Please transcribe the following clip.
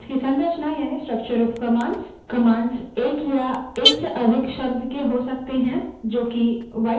commands एक या एक से अधिक शब्द के हो सकते हैं जो कि white spaces द्वारा अलग किए होते हैं